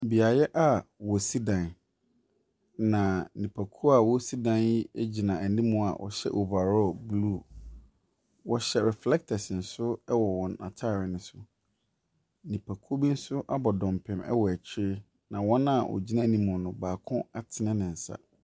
Beaeɛ a ɔsi dan na nnipakuo a ɔresi dan egyina anim mu a ɔhyɛ overall blue. Wɔhyɛ reflectors nso wɔ wɔn ataade no so. Nnipakuo bi nso abɔ dɔmpim ɛwɔ akyire na wɔn a egyina anim mu no baako atene ne nsa.